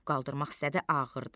Qaldırmaq istədi ağırdı.